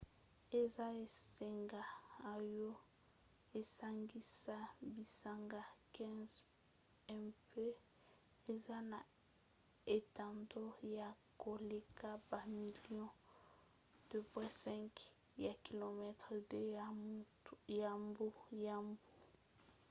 eza esanga oyo esangisa bisanga 15 mpe eza na etando ya koleka bamilio 2,2 ya km2 ya mbu